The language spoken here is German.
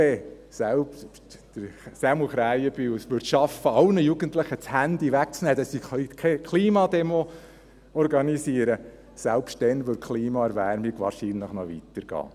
Selbst wenn Sämu Krähenbühl es schaffen würde, sämtlichen Jugendlichen das Handy wegzunehmen, damit sie keine Klimademo organisieren können, selbst dann würde die Klimaerwärmung wahrscheinlich noch weitergehen.